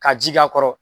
Ka ji k'a kɔrɔ